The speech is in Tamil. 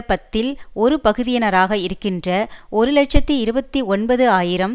பத்தில் ஒரு பகுதியினராக இருக்கின்ற ஒரு இலட்சத்தி இருபத்தி ஒன்பது ஆயிரம்